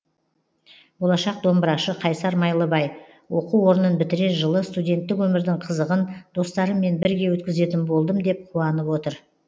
болашақ домбырашы қайсар майлыбай оқу орнын бітірер жылы студенттік өмірдің қызығын достарыммен бірге өткізетін болдым деп қуанып отыр